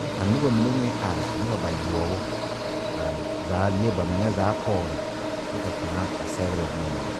kyɛ ka noba mine meŋ are are noba bayoɔ a zaa le ba meŋɛ zaa pɔge kyɛ ka kaŋa a sɛgrɛ boma mine.